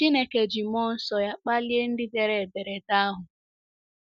Chineke ji mmụọ nsọ ya kpalie ndị dere ederede ahụ.